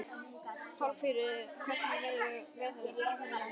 Pálmfríður, hvernig verður veðrið á morgun?